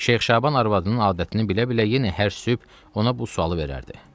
Şeyx Şaban arvadının adətini bilə-bilə yenə hər sübh ona bu sualı verərdi.